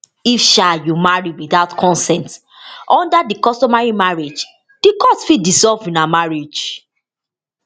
if um you marry witout consent under di customary marriage di court fit dissolve una marriage